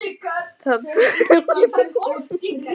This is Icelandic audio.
Það talar enginn þeirra aukatekið orð við mig.